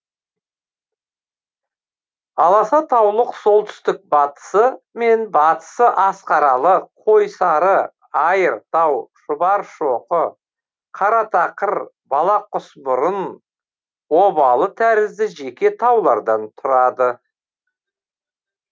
аласа таулық солтүстік батысы мен батысы асқаралы қойсары айыртау шұбаршоқы қаратақыр бала құсмұрын обалы тәрізді жеке таулардан тұрады